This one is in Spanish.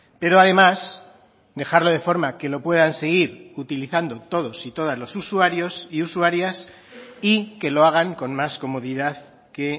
pero además dejarlo de forma que lo puedan seguir utilizando todos y todas los usuarios y usuarias y que lo hagan con más comodidad que